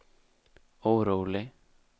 orolig